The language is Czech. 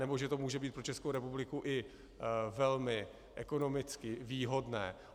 nebo že to může být pro Českou republiku i velmi ekonomicky výhodné.